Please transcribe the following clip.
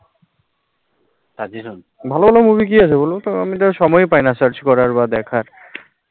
ভালো ভালো movie কি আছে বলো তো সময় পাইনা, search করার বা দেখার